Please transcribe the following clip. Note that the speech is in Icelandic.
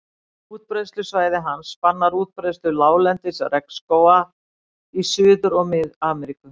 Útbreiðslusvæði hans spannar útbreiðslu láglendis regnskógar í Suður- og Mið-Ameríku.